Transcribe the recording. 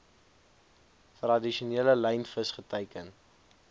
tradisionele lynvis geteiken